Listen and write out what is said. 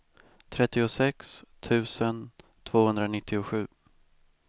trettiosex tusen tvåhundranittiosju